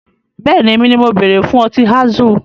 Bẹ́ẹ̀ni, èmi ni mo bere fún Ọtí Azul